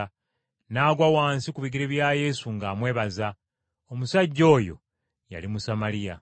N’agwa wansi ku bigere bya Yesu ng’amwebaza. Omusajja oyo yali Musamaliya.